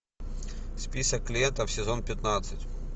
список клиентов сезон пятнадцать